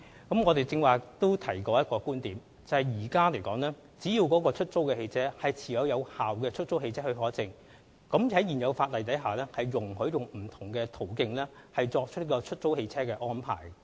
我剛才曾提到一個觀點，就是只要出租汽車持有有效的出租汽車許可證，現行法例容許利用不同途徑作出出租汽車安排。